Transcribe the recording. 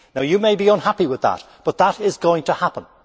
You may be unhappy with that, but that is going to happen.